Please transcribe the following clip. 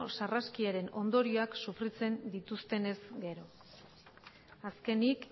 sarraskiaren ondorioak sofritzen dituztenez gero azkenik